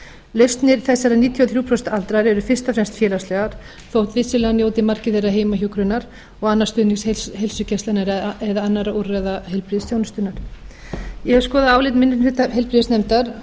lausnir þessara níutíu og þrjú prósent aldraðra eru fyrst og fremst félagslegar þótt vissulega njóti margir þeirra heimahjúkrunar og annars stuðnings heilsugæslunnar eða annarra úrræða heilbrigðisþjónustunnar ég hef skoðað álit minni hluta heilbrigðisnefndar